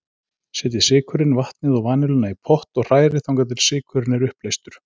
Setjið sykurinn, vatnið og vanilluna í pott og hrærið þangað til sykurinn er uppleystur.